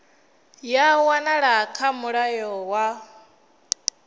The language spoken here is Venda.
ya wanala kha mulayo wa